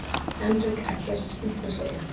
Henrik Eggerts stimplar sig inn.